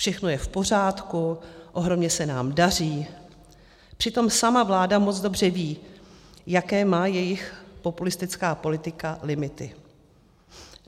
Všechno je v pořádku, ohromně se nám daří, přitom sama vláda moc dobře ví, jaké má její populistická politika limity.